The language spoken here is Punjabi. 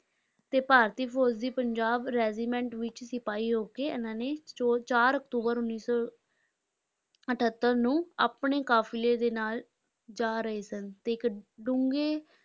ਤੇ ਭਾਰਤੀ ਫ਼ੌਜ਼ ਦੀ ਪੰਜਾਬ regiment ਵਿਚ ਸਿਪਾਹੀ ਹੋ ਕੇ ਇਹਨਾਂ ਨੇ ਚੋ ਚਾਰ ਅਕਤੂਬਰ ਉੱਨੀ ਸੌ ਅਠੱਤਰ ਨੂੰ ਆਪਣੇ ਕਾਫਿਲੇ ਦੇ ਨਾਲ ਜਾ ਰਹੇ ਸਨ ਤੇ ਇੱਕ ਡੂੰਘੇ